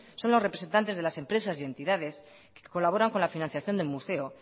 son los representantes de las empresas y entidades que colaboran con la financiación del museo